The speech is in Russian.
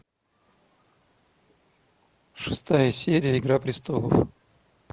шестая серия игра престолов